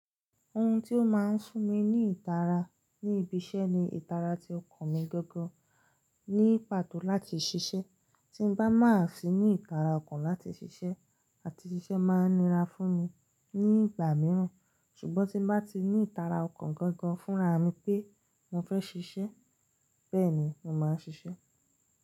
Ohun tó máa ń fun mi ní ìtara ní ibi iṣẹ́ ni ìtara ti ọkàn mi gangan ní pàtó láti ṣiṣẹ́. Tí n bá má fi ní ìtara ọkàn láti ṣiṣẹ́, àti ṣiṣẹ́ máa nira fún mi ní ìgbà mìíràn. Ṣùgbọ́n tí n bá ti ní ìtara ọkàn gangan fúnraà mi pé mo fẹ́ ṣiṣẹ́, bẹ́ẹ̀ ni mo máa ṣiṣẹ́